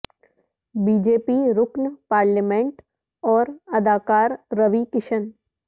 be J P رکن parliament اور اداکار روی کشن